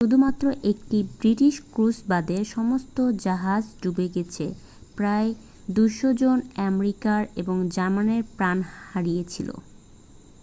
শুধুমাত্র একটি British cruise বাদে সমস্ত জাহাজ ডুবে গেছে প্রায় 200 জন আমেরিকান এবং জার্মান প্রাণ হারিয়েছিল